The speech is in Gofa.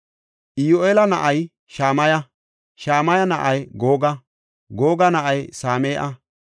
Iyyu7eela na7ay Shamaya; Shamaya na7ay Googa; Googa na7ay Same7a;